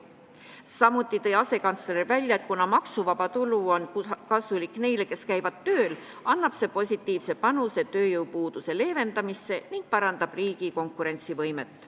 Samuti on asekantsler välja toonud, et kuna maksuvaba tulu on kasulik neile, kes käivad tööl, annab see positiivse panuse tööjõupuuduse leevendamisse ning parandab riigi konkurentsivõimet.